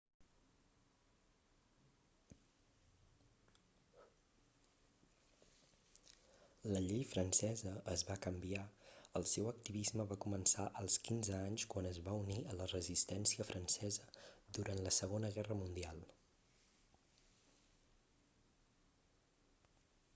la llei francesa es va canviar el seu activisme va començar als 15 anys quan es va unir a la resistència francesa durant la segona guerra mundial